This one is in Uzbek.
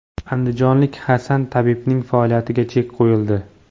Andijonlik Hasan tabibning faoliyatiga chek qo‘yildi.